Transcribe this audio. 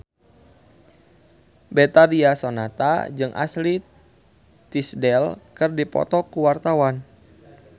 Betharia Sonata jeung Ashley Tisdale keur dipoto ku wartawan